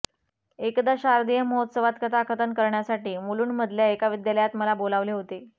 एकदा शारदीय महोत्सवात कथाकथन करण्यासाठी मुलुंडमधल्या एका विद्यालयात मला बोलावले होते